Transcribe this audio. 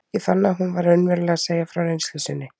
Ég fann að hún var raunverulega að segja frá reynslu sinni.